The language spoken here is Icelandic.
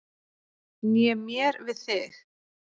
Né mér við þig.